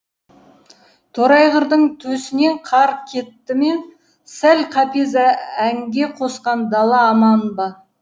торайғырдың төсінен қар кетті ме сал қапез әнге қосқан дала аман ба